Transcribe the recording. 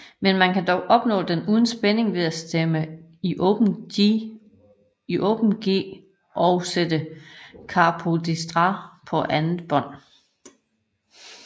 Men man kan dog opnå den uden spænding ved at stemme i Open G og sætte capodestra på andet bånd